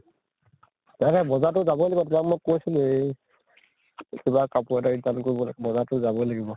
কাইলৈ বজাৰ তো যাৱয়ে লাগিব, যাম কৈছিলৱেই । কিবা কাপোৰ এটা return কৰিব লাগে, বজাৰ তো যাৱয়ে লাগিব ।